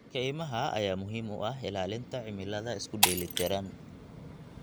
Kaymaha ayaa muhiim u ah ilaalinta cimilada isku dheeli tiran.